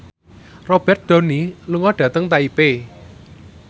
Robert Downey lunga dhateng Taipei